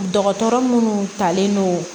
Dɔgɔtɔrɔ munnu talen don